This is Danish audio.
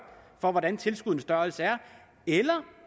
hvordan tilskuddenes størrelse er eller